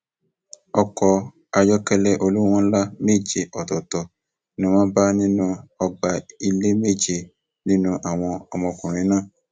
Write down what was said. ariwo ẹkún àti um ìpayínkeke ló gba gbogbo ṣọọṣì náà àti gbogbo ìlú lápapọ kan um